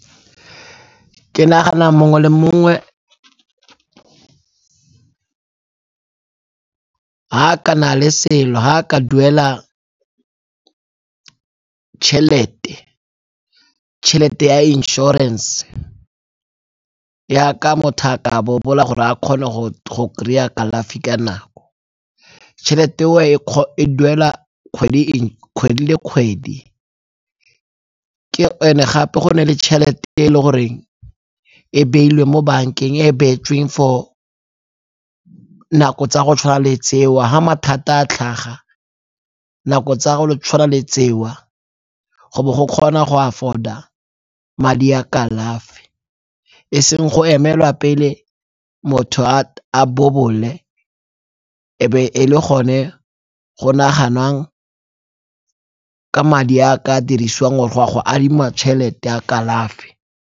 Ke nagana mongwe le mongwe ha a ka na le selo, ha a ka duela tšhelete, tšhelete ya inšorense yaka motho a ka bobola gore a kgone go kry-a kalafi ka nako. Tšhelete e duela kgwedi le kgwedi And-e gape go na le tšhelete e le goreng e beilwe mo bankeng e e beetsweng for nako tsa go tshwana le tseo ga mathata a tlhaga nako tsa go tshwana le tseo go bo go kgona go afford-a madi ya kalafi. E seng go emelwa pele motho a bobole e be e le gone go naganang ka madi a a ka dirisiwang go tswa go adima madi tšhelete ya kalafi.